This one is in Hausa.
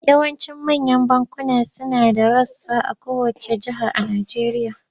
Yawancin manyan bankuna suna da rassa a kowacce jiha a Najeriya.